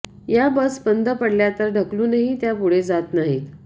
या बस बंद पडल्या तर ढकलूनही त्या पुढे जात नाहीत